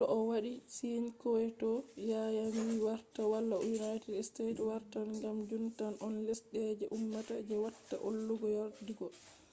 to o wadi sign kyoto yanayi wartan wala united state wartan kam jun tan on lesde je ummata je watta hollugo yerdugo